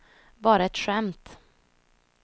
bara ett skämt